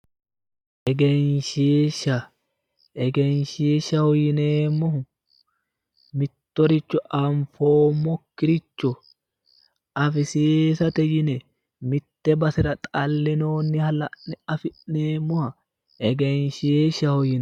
Egenshshisha egenshshishaho yineemohu mitoricho anifoomokiricho affissiisate yine mite basera xalinnoniha la'ine afi'neemoha egenshshishaho yinayi